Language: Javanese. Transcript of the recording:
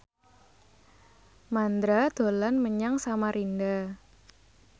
Mandra dolan menyang Samarinda